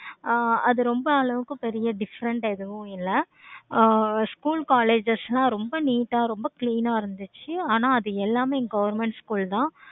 ஆஹ் அது ரொம்ப அளவுக்கு பெரிய different எதுவும் இல்லை. ஆஹ் school, colleges லாம் ரொம்ப neat ஆஹ் ரொம்ப clean ஆஹ் இருந்துச்சி. ஆனா அது எல்லாமே government school தான்